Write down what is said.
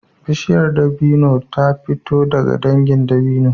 Bishiyar dabino ta fito daga dangin dabino